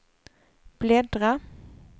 bläddra